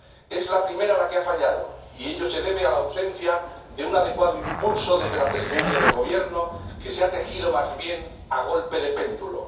Es la primera la que ha fallado y ello se debe a la ausencia de un adecuado impulso desde la Presidencia del Gobierno, que ha tejido la Presidencia europea más bien a golpe de péndulo.